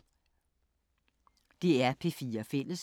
DR P4 Fælles